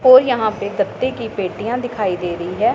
और यहां पे गत्ते की पेटियां दिखाई दे रही है।